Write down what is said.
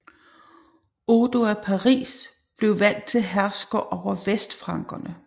Odo af Paris blev valgt til hersker over vestfrankerne